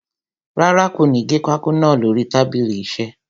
Rárá, kò ní gé pákó naa lórí tábìlì iṣẹ́.